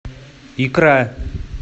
икра